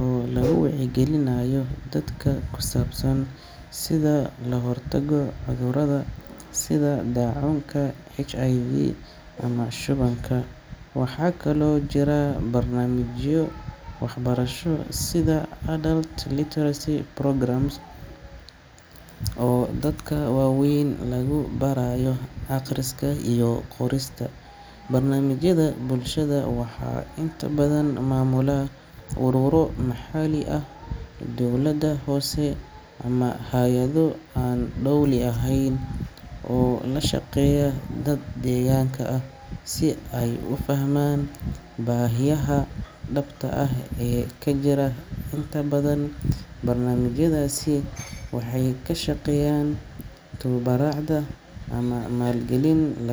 oo lagu wacyigelinayo dadka ku saabsan sida loo hortago cudurrada sida daacuunka, HIV/AIDS ama shubanka. Waxaa kaloo jira barnaamijyo waxbarasho sida adult literacy programmes oo dadka waaweyn lagu baraayo akhriska iyo qorista. Barnaamijyada bulshada waxaa inta badan maamula ururo maxalli ah, dowladda hoose, ama hay’ado aan dowli ahayn oo la shaqeeya dad deegaanka ah si ay u fahmaan baahiyaha dhabta ah ee ka jira. Inta badan, barnaamijyadaasi waxay ku shaqeeyaan tabarucaad ama maalgelin laga.